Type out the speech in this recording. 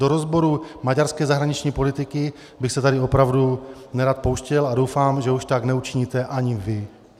Do rozboru maďarské zahraniční politiky bych se tady opravdu nerad pouštěl a doufám, že už tak neučiníte ani vy.